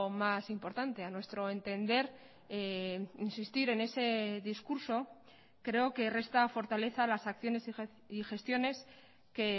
más importante a nuestro entender insistir en ese discurso creo que resta fortaleza a las acciones y gestiones que